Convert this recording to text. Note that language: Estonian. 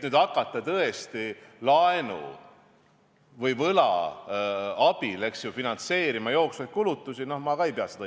Hakata nüüd laenu või võla abil finantseerima jooksvaid kulutusi – no seda ma ka õigeks ei pea.